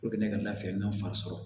ne ka lafiya n'a fan sɔrɔ